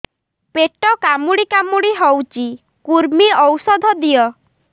ପେଟ କାମୁଡି କାମୁଡି ହଉଚି କୂର୍ମୀ ଔଷଧ ଦିଅ